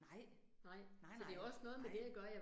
Nej, nej nej, nej